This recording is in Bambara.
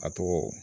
A tɔgɔ